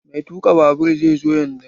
Mai tuka babur zai zo yanzun.